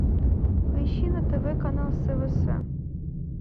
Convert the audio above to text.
поищи на тв канал свс